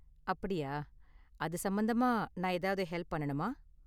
அப்படியா. அது சம்பந்தமா நான் ஏதாவது ஹெல்ப் பண்ணனுமா?